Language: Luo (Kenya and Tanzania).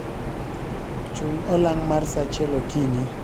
chung olang mar saa achiel okinyi